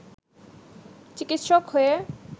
চিকিৎসক হয়ে